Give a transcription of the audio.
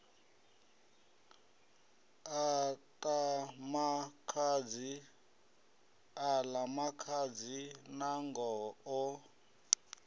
a ḽa makhadzi nangoho o